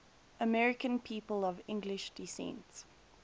american people of english descent